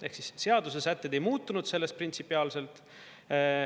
Ehk siis seaduse sätted ei muutunud sellest printsipiaalselt.